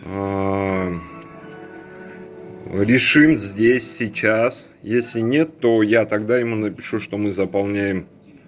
решим здесь сейчас если нет то я тогда ему напишу что мы заполняем